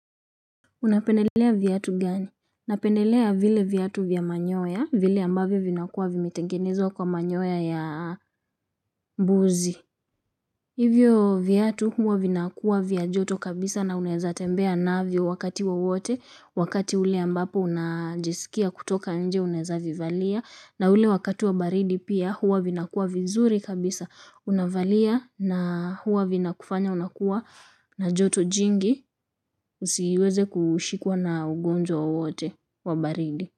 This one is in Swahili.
Unapenelea viatu gani? Napenelea vile viatu vya manyoya, vile ambavyo vinakuwa vimitengenezwa kwa manyoya ya mbuzi. Hivyo viatu huwa vinakuwa vya joto kabisa na unezatembea navyo wakati wowote, wakati ule ambapo unajisikia kutoka nje unezavivalia, na ule wakati wa baridi pia huwa vinakua vizuri kabisa unavalia na huwa vinakufanya unakua na joto jingi usiweze kushikwa na ugonjwa wowote wa baridi.